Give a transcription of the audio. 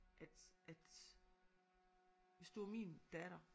At at hvis du var min datter